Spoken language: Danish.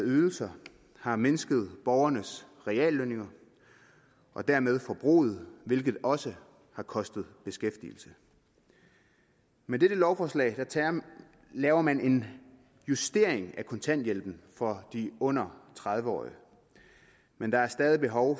ydelser har mindsket borgernes reallønninger og dermed forbruget hvilket også har kostet beskæftigelse med dette lovforslag laver man en justering af kontanthjælpen for de under tredive årige men der er stadig behov